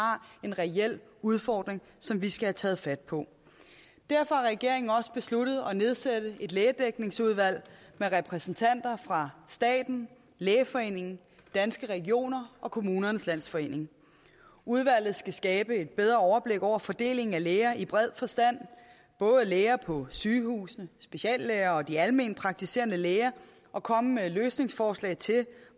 en reel udfordring som vi skal have taget fat på derfor har regeringen også besluttet at nedsætte et lægedækningsudvalg med repræsentanter fra staten lægeforeningen danske regioner og kommunernes landsforening udvalget skal skabe et bedre overblik over fordelingen af læger i bred forstand både læger på sygehusene speciallæger og de alment praktiserende læger og komme med løsningsforslag til